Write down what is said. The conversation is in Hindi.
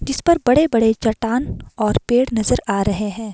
जिस पर बड़े-बड़े चट्टान और पेड़ नजर आ रहे हैं।